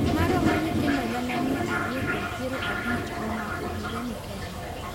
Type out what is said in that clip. Moromo nyithindo gana mia ariyo kod piero abich omako higa ni kende.